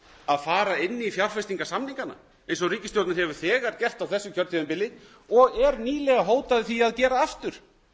að fara inn í fjárfestingarsamningana eins og ríkisstjórnin hefur þegar gert á þessu kjörtímabili og hótaði nýlega að gera aftur